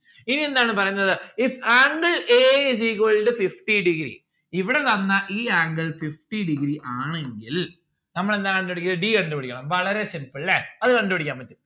ഇനി എന്താണ് പറയുന്നത് if angle a is equal to fifty degree ഇവിടെ തന്ന ഈ angle fifty degree ആണെങ്കിൽ നമ്മൾ എന്താ കണ്ടു പിടിക്കണ്ടത് d കണ്ടു പിടിക്കണം വളരെ simple ല്ലേ അത് കണ്ട്‌ പിടിയ്ക്കാൻ പറ്റും